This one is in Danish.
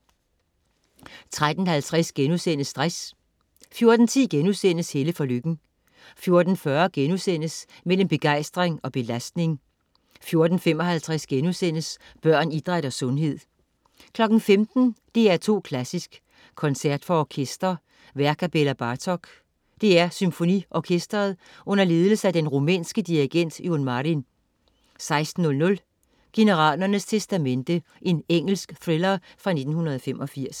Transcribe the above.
13.50 Stress* 14.10 Helle for Lykken* 14.40 Mellem begejstring og belastning* 14.55 Børn, idræt og sundhed* 15.00 DR2 Klassisk: Koncert for orkester. Værk af Bela Bartok. DR SymfoniOrkestret under ledelse af den rumænske dirigent Ion Marin 16.00 Generalernes testamente. Engelsk thriller fra 1985